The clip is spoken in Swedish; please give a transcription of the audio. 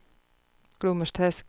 Glommersträsk